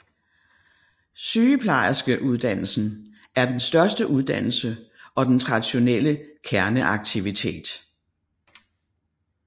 Sygeplejerskeuddannelsen er den største uddannelse og den traditionelle kerneaktivitet